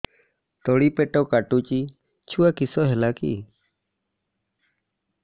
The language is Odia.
ତଳିପେଟ କାଟୁଚି ଛୁଆ କିଶ ହେଲା କି